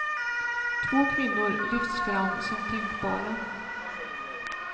Två kvinnor lyfts fram som tänkbara.